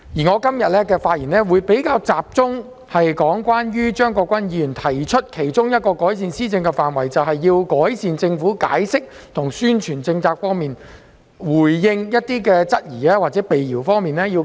我今天的發言會比較集中論述張國鈞議員所提的其中一個改善施政的範疇，那就是改善政府解釋及宣傳政策、回應質疑與闢謠的能力。